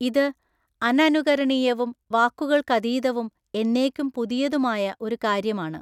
ഇത് അനനുകരണീയവും വാക്കുകൾക്കതീതവും എന്നേക്കും പുതിയതുമായ ഒരു കാര്യമാണ്.